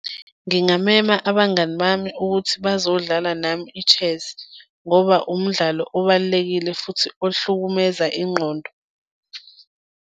Ngingamema abangani bami ukuthi bazodlala nami i-chess ngoba umdlalo obalulekile futhi ohlukumeza ingqondo.